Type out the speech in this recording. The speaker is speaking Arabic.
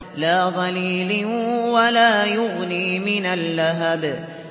لَّا ظَلِيلٍ وَلَا يُغْنِي مِنَ اللَّهَبِ